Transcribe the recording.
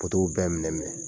Potow bɛɛ minɛ minɛ